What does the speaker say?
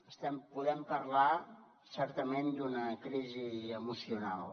podem parlar certament d’una crisi emocional